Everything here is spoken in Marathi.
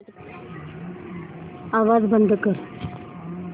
आवाज बंद कर